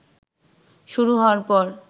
শুরু হওয়ার পর